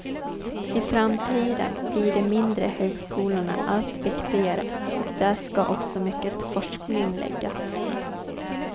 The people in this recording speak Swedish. I framtiden blir de mindre högskolorna allt viktigare och där ska också mycket forskning läggas.